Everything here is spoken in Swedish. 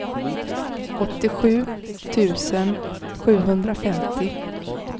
åttiosju tusen sjuhundrafemtio